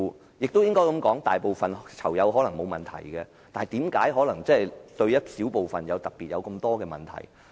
我亦要這樣說，大部分囚友可能也覺得沒有問題，但為何有一小部分人特別有問題？